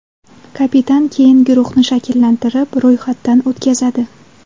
Kapitan keyin guruhni shakllantirib, ro‘yxatdan o‘tkazadi.